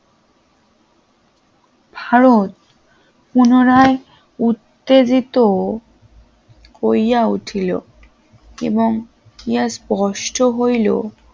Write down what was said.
ভারত পুনরায় উত্তেজিত হইয়া উঠল এবং কি আর স্পষ্ট হইল